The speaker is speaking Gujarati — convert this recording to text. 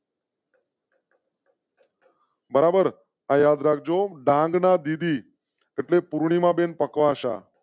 બરાબર યાદ રાખ જો ડાંગના ડી એટલે પૂર્ણિમા બેન પકવાસા.